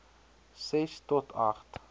ses tot agt